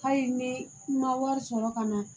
Hali ni i ma wari sɔrɔ ka na